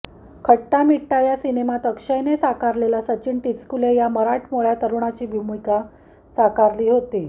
खट्टा मिट्टा या सिनेमात अक्षयने साकारलेला सचिन टिचकुले या मराठमोठ्या तरुणाची भूमिका साकारली होती